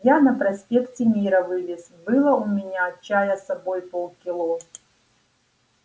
я на проспекте мира вылез было у меня чая с собой полкило